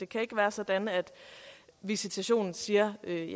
kan være sådan at visitationen siger at det